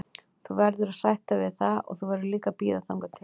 Þú verður að sætta þig við það og þú verður líka að bíða þangað til.